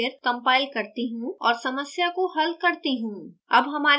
इसे एक बार फिर compile करती हूँ और समस्या को हल करती हूँ